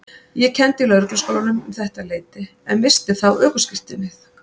Ég kenndi í Lögregluskólanum um þetta leyti en missti þá ökuskírteinið.